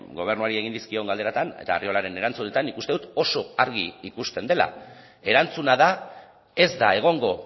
gobernuari egin dizkion galderatan eta arriolaren erantzunetan nik uste dut oso argi ikusten dela erantzuna da ez da egongo